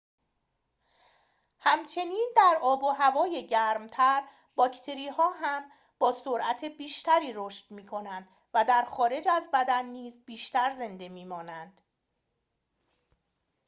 همچنین در آب و هوای گرم‌تر باکتری‌ها هم با سرعت بیشتری رشد می‌کنند و در خارج از بدن نیز بیشتر زنده می‌مانند